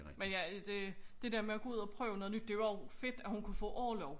Men ja det det der med at gå ud og prøve noget nyt det jo og fedt at hun kunne få orlov